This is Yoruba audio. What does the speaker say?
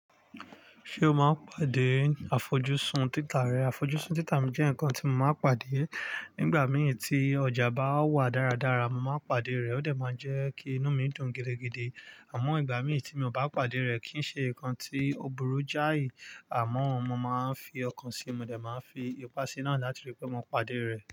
Ṣé o máa ń pàdé àfojúsùn títà rẹ? Àfojúsùn títà mi jẹ́ ǹkan tí mo máa ń pàdé. Nígbà mìí tí ọjà bá wà dáradára, mo máa ń pàdé rẹ̀. Ó dẹ̀ máa ń jẹ́ kí inú mi dùn gidigidi. Àmọ́ ìgbà mìí tí mi ò bá pàdé rẹ̀, kì ń ṣe ǹkan tí ò burú jáì. Àmọ́ mo máa ń fi ọkàn sí i, mo dẹ̀ máa fi ipá sí i ńàá láti rí pé mo pàdé rẹ̀.